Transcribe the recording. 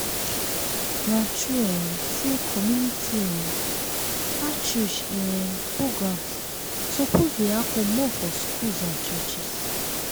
na true um say community um outreach um programs suppose dey happen more for schools and churches.